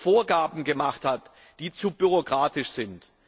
Vorgaben gemacht hat, die zu bürokratisch sind.